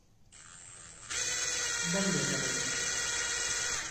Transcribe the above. давлетовой